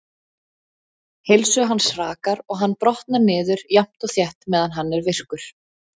Heilsu hans hrakar og hann brotnar niður jafnt og þétt meðan hann er virkur.